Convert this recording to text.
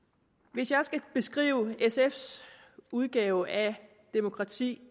hvis jeg skal beskrive sfs udgave af demokrati